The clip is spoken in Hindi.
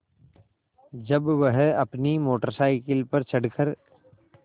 जब वह अपनी मोटर साइकिल पर चढ़ कर